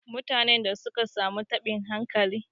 Mutanen da suka samu taɓin hankali.